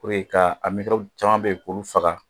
ka a caman be in k'olu faga.